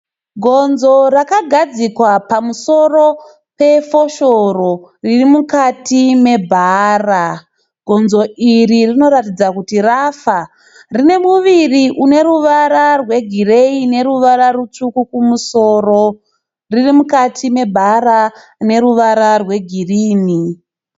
Gonzo rakagadzikwa pamusoro pefoshoro riri mukati mebhara .Gonzo iri rinoratidza kuti rafa. Rine muviri une ruvara rwegireyi neruvara rutsvuku kumusoro .Riri mukati mebhara rine ruvara rwegirini.